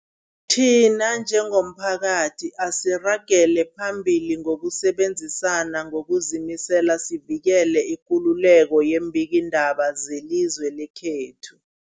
Thina njengomphakathi, asiragele phambili ngokusebenzisana ngokuzimisela sivikele ikululeko yeembikiindaba zelizwe lekhethu.